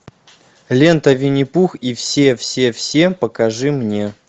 лента винни пух и все все все покажи мне